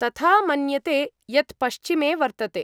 तथा मन्यते, यत् पश्चिमे वर्तते।